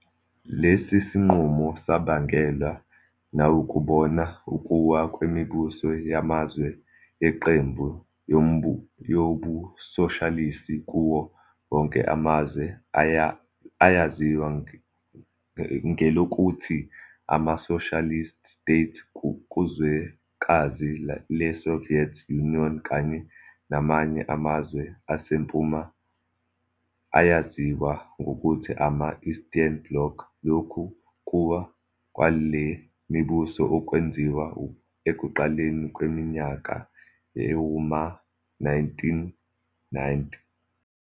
Lesi sinqumo sabangelwa nawukubona ukuwa kwemibuso yamazwe yenqubo yobusoshalisi kuwo wonke amazwe ayaziwa ngelokuthi ama-socialist states kuzwekazi le-Soviet Union kanye namanye amazwe aseMpuma ayaziwa ngokuthi ama-Eastern Bloc lokhu kuwa kwale mibuso okwenziwa ekuqaleni kweminyaka yoma 1990.